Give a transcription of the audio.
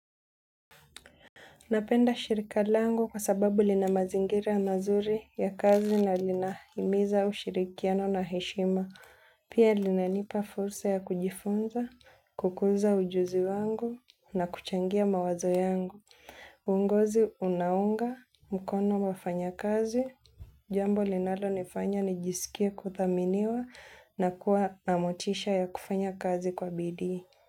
Napenda shirika langu kwa sababu linamazingira mazuri ya kazi na linahimiza ushirikiano na heshima. Pia linanipa fursa ya kujifunza, kukuza ujuzi wangu na kuchangia mawazo yangu. Uongozi unaunga, mkono wafanyakazi, jambo linalonifanya nijisikie kuthaminiwa na kuwa na motisha ya kufanya kazi kwa bidii.